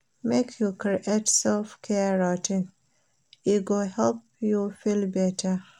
Make you create self-care routine, e go help you feel beta.